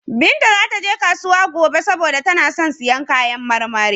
Binta za ta je kasuwa gobe saboda tana son siyan kayan marmari.